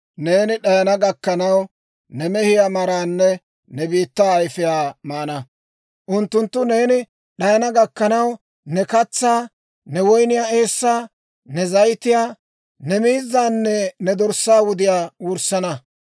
Neeni d'ayana gakkanaw, ne mehiyaa maraanne, ne biittaa ayfiyaa maana. Unttunttu neeni d'ayana gakkanaw, ne katsaa, ne woyniyaa eessaa, ne zayitiyaa, ne miizzaanne ne dorssaa wudiyaa wurssana.